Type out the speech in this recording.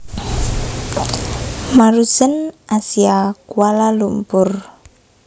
Maruzen Asia Kuala Lumpur